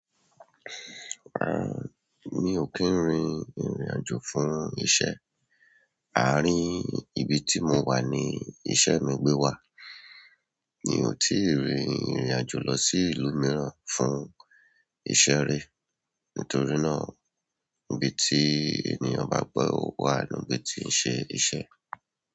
Ah, mi ò kí ń rin ìrìnàjò fún iṣẹ́. Àárín ibi tí mo wà ni iṣẹ́ mi gbé wà. Mi ò tíì rin ìrìnàjò lọ sí ìlú mìíràn fún iṣẹ́ rí. Nítorí náà, ibi tí ènìyàn bá gbọ́ wà ni ibi tí ń ṣe iṣẹ́.